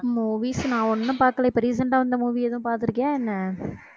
movies நான் ஒண்ணும் பாக்கல இப்ப recent ஆ வந்த movie எதுவும் பாத்திருக்கியா என்ன